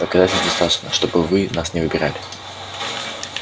доказательств достаточно чтобы вы нас не выбирали